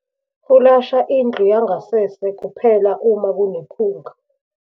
Fulasha indlu yangasese kuphela uma kunephunga.